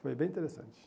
Foi bem interessante.